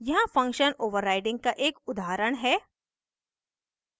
यहाँ function overriding overriding का एक उदाहरण है